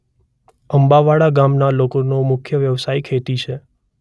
અંબાવાડા ગામના લોકોનો મુખ્ય વ્યવસાય ખેતી છે.